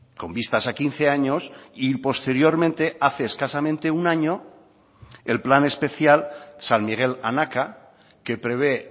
con vistas a quince años y posteriormente hace escasamente un año el plan especial san miguel anaka que prevé